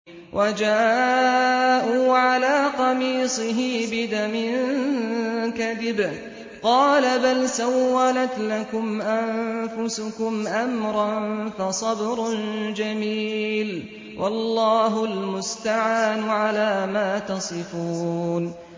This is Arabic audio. وَجَاءُوا عَلَىٰ قَمِيصِهِ بِدَمٍ كَذِبٍ ۚ قَالَ بَلْ سَوَّلَتْ لَكُمْ أَنفُسُكُمْ أَمْرًا ۖ فَصَبْرٌ جَمِيلٌ ۖ وَاللَّهُ الْمُسْتَعَانُ عَلَىٰ مَا تَصِفُونَ